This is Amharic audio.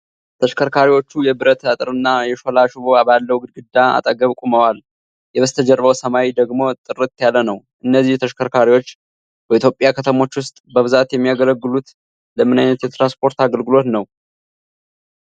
ተሽከርካሪዎቹ የብረት አጥርና የሾላ ሽቦ ባለው ግድግዳ አጠገብ ቆመዋል፣ የበስተጀርባው ሰማይ ደግሞ ጥርት ያለ ነው። እነዚህ ተሽከርካሪዎች በኢትዮጵያ ከተሞች ውስጥ በብዛት የሚያገለግሉት ለምን ዓይነት የትራንስፖርት አገልግሎት ነው?